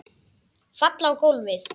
Falla á gólfið.